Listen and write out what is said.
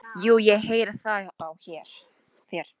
Jú, ég heyri það á þér.